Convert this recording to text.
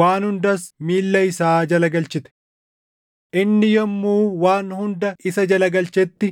Waan hundas miilla isaa jala galchite.” + 2:8 \+xt Far 8:4‑6\+xt* Inni yommuu waan hunda isa jala galchetti